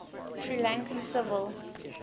sri lankan civil